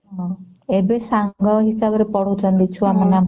ହଁ ଏବେ ସାଙ୍ଗ ହିସାବରେ ପଢ଼ାଉଛନ୍ତି ଛୁଆ ମାନଙ୍କ ସହ